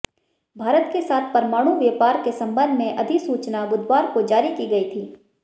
भारत के साथ परमाणु व्यापार के संबंध में अधिसूचना बुधवार को जारी की गई थी